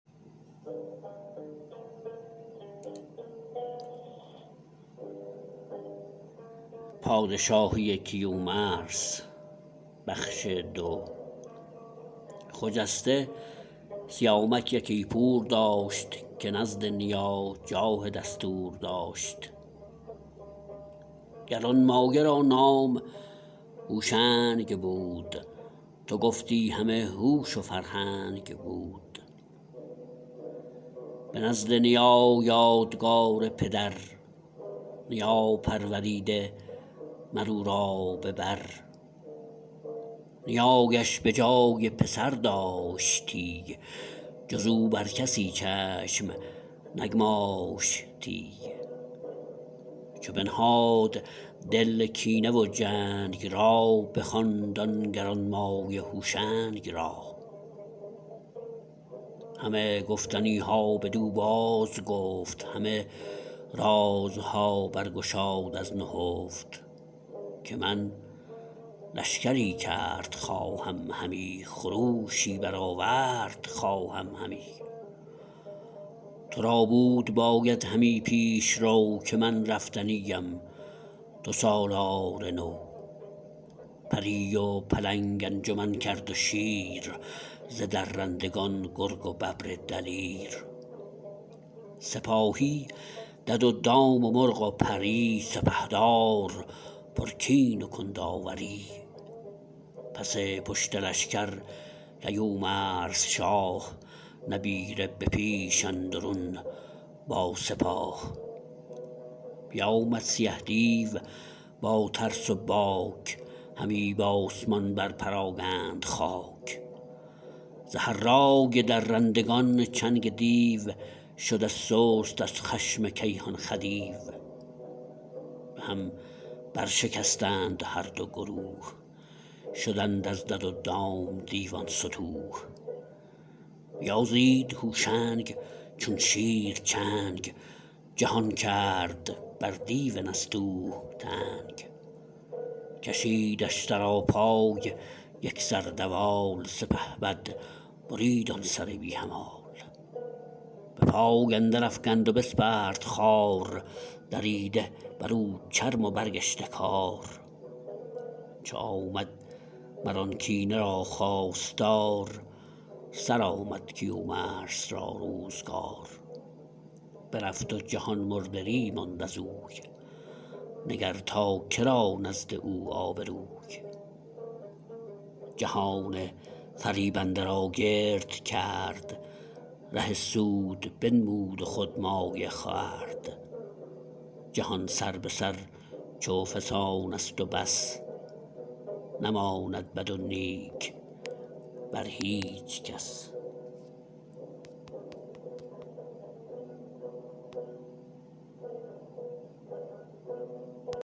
خجسته سیامک یکی پور داشت که نزد نیا جاه دستور داشت گرانمایه را نام هوشنگ بود تو گفتی همه هوش و فرهنگ بود به نزد نیا یادگار پدر نیا پروریده مر او را به بر نیایش به جای پسر داشتی جز او بر کسی چشم نگماشتی چو بنهاد دل کینه و جنگ را بخواند آن گرانمایه هوشنگ را همه گفتنی ها بدو بازگفت همه رازها بر گشاد از نهفت که من لشکری کرد خواهم همی خروشی برآورد خواهم همی تو را بود باید همی پیشرو که من رفتنی ام تو سالار نو پری و پلنگ انجمن کرد و شیر ز درندگان گرگ و ببر دلیر سپاهی دد و دام و مرغ و پری سپهدار پرکین و کنداوری پس پشت لشکر کیومرث شاه نبیره به پیش اندرون با سپاه بیامد سیه دیو با ترس و باک همی بآسمان بر پراگند خاک ز هرای درندگان چنگ دیو شده سست از خشم کیهان خدیو به هم برشکستند هر دو گروه شدند از دد و دام دیوان ستوه بیازید هوشنگ چون شیر چنگ جهان کرد بر دیو نستوه تنگ کشیدش سراپای یک سر دوال سپهبد برید آن سر بی همال به پای اندر افگند و بسپرد خوار دریده بر او چرم و برگشته کار چو آمد مر آن کینه را خواستار سرآمد کیومرث را روزگار برفت و جهان مردری ماند ازوی نگر تا که را نزد او آبروی جهان فریبنده را گرد کرد ره سود بنمود و خود مایه خورد جهان سر به سر چو فسانست و بس نماند بد و نیک بر هیچ کس